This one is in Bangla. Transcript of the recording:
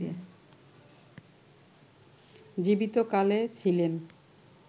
জীবিত কালে ছিলেন